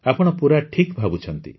ଆପଣ ପୂରା ଠିକ୍ ଭାବୁଛନ୍ତି